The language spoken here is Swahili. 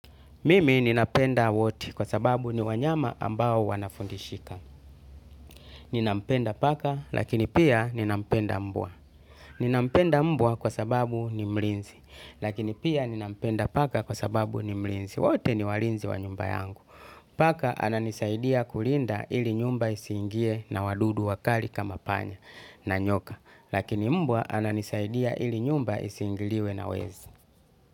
Mimi ninapenda wote kwa sababu ni wanyama ambao wanafundishika. Ninampenda paka lakini pia ninampenda mbwa. Ninampenda mbwa kwa sababu ni mlinzi. Lakini pia ninampenda paka kwa sababu ni mlinzi. Wote ni walinzi wa nyumba yangu. Paka ananisaidia kulinda ili nyumba isiingiwe na wadudu wakali kama panya na nyoka. Lakini mbwa ananisaidia ili nyumba isiingiliwe na wezi.